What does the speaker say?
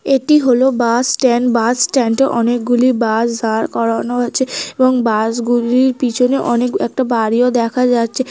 এটি হল bus stand. Bus stand -এ অনেক গুলি বাস দাড় করানো আছে এবং বাস গুলির পিছনে অনেক একটা বাড়িও দেখা যাচ্ছে।